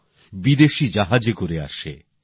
খাওয়াদাওয়া শোওয়া কোন বিষয়েই মানুষ স্বাধীন নয়